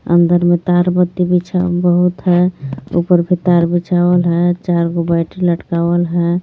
अंदर मे तार बत्ती बिछा बहुत हे ऊपर भी तार बिछावल हे चार बो बैटरी लटकावल हे.